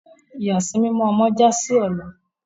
Ìyàsímímọ́ ọmọ já sí ọ́la